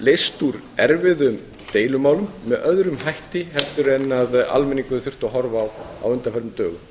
leyst úr erfiðum deilumálum með öðrum hætti en almenningur hefur þurft að horfa upp á á undanförnum dögum